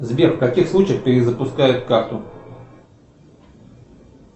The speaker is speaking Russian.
сбер в каких случаях перезапускают карту